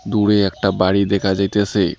দূরে একটা বাড়ি দেখা যাইতেসে।